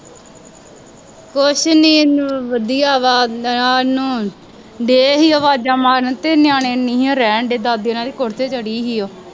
ਕੁੱਛ ਨਹੀਂ ਨੂ ਵਧੀਆ ਵਾ ਗਿਆ ਨਹਾਉਣ ਡੇ ਸੀ ਆਵਾਜ਼ਾਂ ਮਾਰਨ ਅਤੇ ਨਿਆਣੇ ਨਹੀਉਂ ਰਹਿਣ ਡੇ ਦਾਦੀ ਹੁਣਾਂ ਦੇ ਕੋਠੇ ਚੜ੍ਹੀ ਸੀ ਉਹ